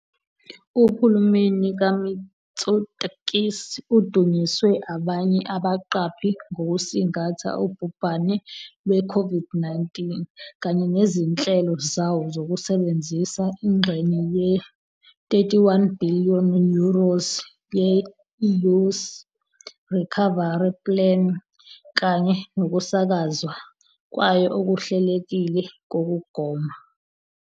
Uhulumeni kaMitsotakis udunyiswe abanye abaqaphi ngokusingatha ubhubhane lwe-COVID-19 kanye nezinhlelo zawo zokusebenzisa ingxenye ye-31 billion euros ye-EU's Recovery Plan kanye nokusakazwa kwayo okuhlelekile kokugoma.